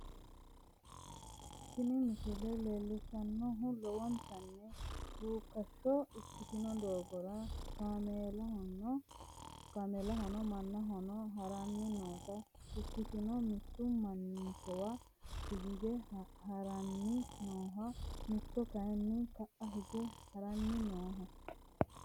Tini misile leellishshannohu lowontanni ruukkashsho ikkitino doogora kaameeluno mannuno haranni noota ikkitanna, mitu manninkawa hige haranni nooho mitu kayiinni ka'a hige haranni nooho.